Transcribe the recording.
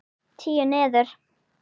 Tíu niður.